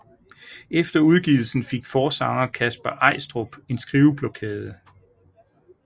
Efter udgivelsen fik forsanger Kasper Eistrup en skriveblokade